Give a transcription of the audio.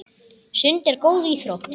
Sund er góð íþrótt.